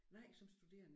Nej som studerende